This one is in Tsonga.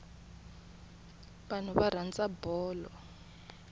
vanhu va rhandza bolo